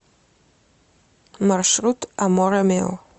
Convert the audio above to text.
маршрут аморэ мио